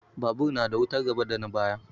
Babur na da wutar gaba da na baya.